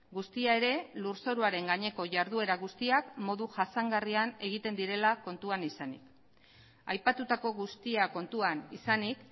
guztia ere lurzoruaren gaineko jarduera guztiak modu jasangarrian egiten direla kontuan izanik aipatutako guztia kontuan izanik